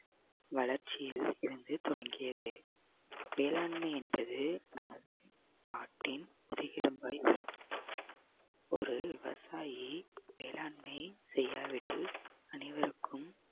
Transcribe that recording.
வளர்ச்சியில் இருந்து தொடங்கியது வேளாண்மை என்பது நமது நாட்டின் முதுகெலும்பை ஒரு விவசாயி வேளாண்மை செய்யாவிடில் அனைவருக்கும்